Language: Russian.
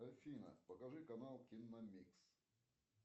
афина покажи канал киномикс